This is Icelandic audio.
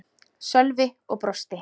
Sölvi og brosti.